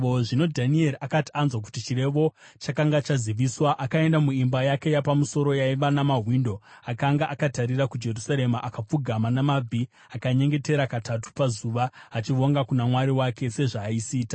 Zvino Dhanieri akati anzwa kuti chirevo chakanga chaziviswa, akaenda muimba yake yapamusoro yaiva namawindo akanga akatarira kuJerusarema. Akapfugama namabvi ake akanyengetera katatu pazuva, achivonga kuna Mwari wake, sezvaaisiita.